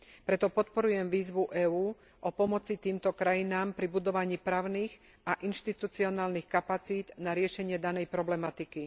Preto podporujem výzvu EÚ o pomoci týmto krajinám pri budovaní právnych a inštitucionálnych kapacít na riešenie danej problematiky.